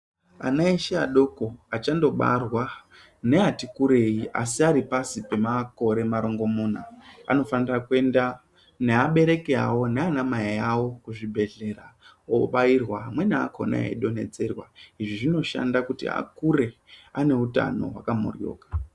Ana eshe adokonachandobarwa neati kurwi asi ari pasi pemakore marongomuna anofanira kuenda neabereki awo nana mai awo kuzvibhedhlera obairwa amweni alhona eidontedzerwa izvi zvinoshanda kuti akure ane utano hwaka moryoka.